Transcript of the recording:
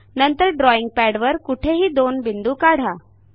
नंतर ड्रॉईंग पॅडवर कुठेही दोन बिंदू काढा